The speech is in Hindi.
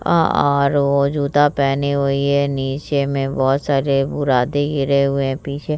अ आरो जूता पहने हुई है नीचे में बहोत सारे बुरादे गिरे हुए है पीछे --